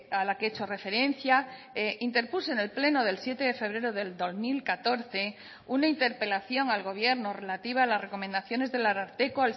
a la que he hecho referencia interpuse en el pleno del siete de febrero del dos mil catorce una interpelación al gobierno relativa a las recomendaciones del ararteko